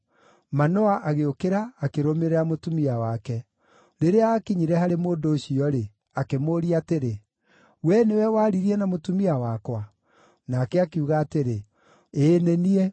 Manoa agĩũkĩra, akĩrũmĩrĩra mũtumia wake. Rĩrĩa aakinyire harĩ mũndũ ũcio-rĩ, akĩmũũria atĩrĩ, “We nĩwe waririe na mũtumia wakwa?” Nake akiuga atĩrĩ, “Ĩĩ, nĩ niĩ.”